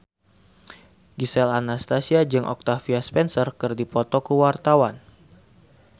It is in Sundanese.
Gisel Anastasia jeung Octavia Spencer keur dipoto ku wartawan